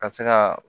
Ka se ka